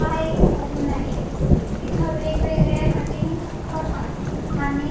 हा एक सलून आहे इथे वेगवेगळ्या कटिंग्ज करतात आणि--